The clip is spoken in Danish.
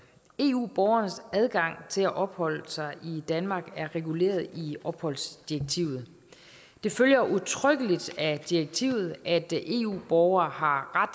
eu borgernes adgang til at opholde sig i danmark er reguleret i opholdsdirektivet det følger udtrykkeligt af direktivet at eu borgere har